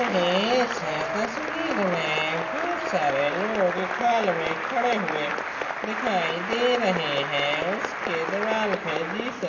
इस तस्वीर मे बोहत सारे लोग एक हॉल खड़े हुए दिखाई दे रहे है. उसके दीवाल पे जिसेस--